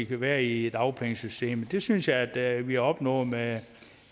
kan være i dagpengesystemet det synes jeg at vi opnår med